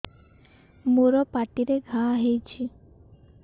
ମୋର ପାଟିରେ ଘା ହେଇଚି